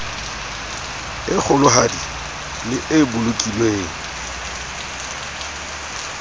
e kgolohadi le e bolokilweng